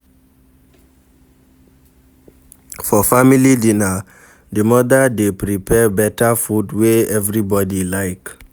For family dinner di mother dey prepare better food wey everybody like